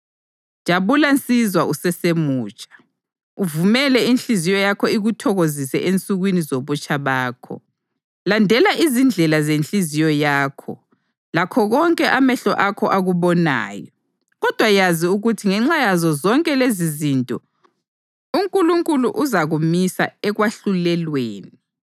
Jabula nsizwa usesemutsha, uvumele inhliziyo yakho ikuthokozise ensukwini zobutsha bakho. Landela izindlela zenhliziyo yakho lakho konke amehlo akho akubonayo, kodwa yazi ukuthi ngenxa yazo zonke lezizinto uNkulunkulu uzakumisa ekwahlulelweni.